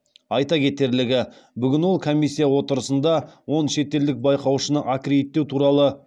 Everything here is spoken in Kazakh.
айта кетерлігі бүгін ол комиссия отырысында он шетелдік байқаушыны аккредиттеу туралы